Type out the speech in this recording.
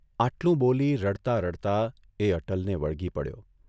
આટલુ બોલી રડતા રડતા એ અટલને વળગી પડ્યો.